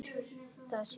Það sé í skoðun.